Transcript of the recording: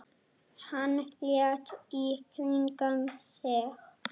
Hann leit í kringum sig.